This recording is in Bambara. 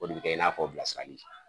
O de bɛ kɛ i n'a fɔ bilasirali